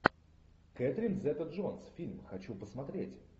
кэтрин зета джонс фильм хочу посмотреть